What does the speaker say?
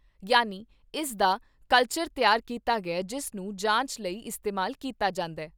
ਯਾਨੀ ਇਸ ਦਾ ਕਲਚਰ ਤਿਆਰ ਕੀਤਾ ਗਿਆ ਜਿਸ ਨੂੰ ਜਾਂਚ ਲਈ ਇਸਤੇਮਾਲ ਕੀਤਾ ਜਾਂਦਾ।